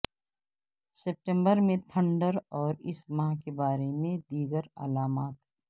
ستمبر میں تھنڈر اور اس ماہ کے بارے میں دیگر علامات